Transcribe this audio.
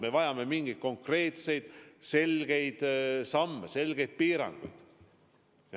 Me vajame mingeid konkreetseid samme, selgeid piiranguid.